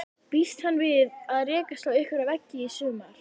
Býst hann við að rekast á einhverja veggi í sumar?